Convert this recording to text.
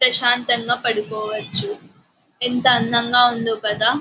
ప్రశాంతంగా పడుకోవచ్చు. ఎంత అందంగా ఉందొ కదా --